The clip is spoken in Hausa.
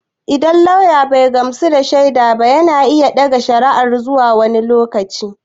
Idan lauya bai gamsu da shaida ba yana iya ɗaga ƙara zuwa wani lokaci.